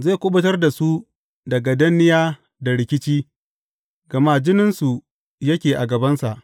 Zai kuɓutar da su daga danniya da rikici, gama jininsu yake a gabansa.